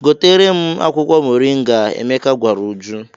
"Gotere m akwụkwọ moringa," Emeka gwara Uju.